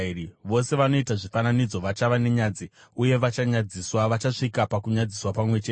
Vose vanoita zvifananidzo vachava nenyadzi uye vachanyadziswa, vachasvika pakunyadziswa pamwe chete.